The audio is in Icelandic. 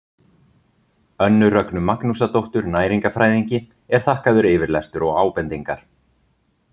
Önnu Rögnu Magnúsardóttur næringarfræðingi er þakkaður yfirlestur og ábendingar.